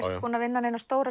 búinn að vinna neina stóra